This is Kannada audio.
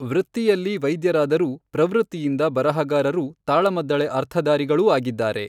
ವೃತ್ತಿಯಲ್ಲಿ ವೈದ್ಯರಾದರೂ ಪ್ರವೃತ್ತಿಯಿಂದ ಬರಹಗಾರರೂ ತಾಳಮದ್ದಳೆ ಅರ್ಥಧಾರಿಗಳೂ ಆಗಿದ್ದಾರೆ.